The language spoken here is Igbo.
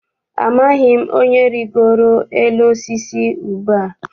Amaghị m onye rigoro n'elu osisi ube a.